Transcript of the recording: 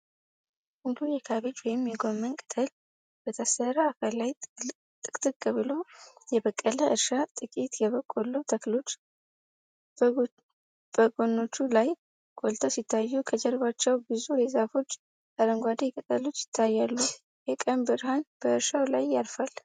ሙሉ የካቤጅ ወይም የጎመን ቅጠል በታረሰ አፈር ላይ ጥቅጥቅ ብሎ የበቀለ እርሻ። ጥቂት የበቆሎ ተክሎች በጎኖቹ ላይ ጎልተው ሲታዩ፣ ከበስተጀርባ ብዙ የዛፎች አረንጓዴ ቅጠሎች ይታያሉ። የቀን ብርሃን በእርሻው ላይ ያርፋል።